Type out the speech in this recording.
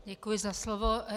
Děkuji za slovo.